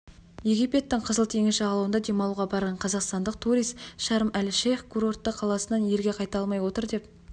египеттің қызыл теңіз жағалауында демалуға барған қазақстандық турист шарм-әл-шейх курортты қаласынан елге қайта алмай отыр деп